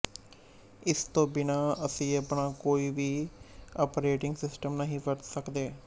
ਇਸ ਤੋ ਬਿਨਾਂ ਅਸੀਂ ਆਪਣਾ ਕੋਈ ਵੀ ਆਪਰੇਟਿੰਗ ਸਿਸਟਮ ਨਹੀਂ ਵਰਤ ਸਕਦੇ